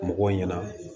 Mɔgɔw ɲɛna